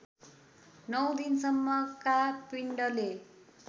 नौ दिनसम्मका पिण्डले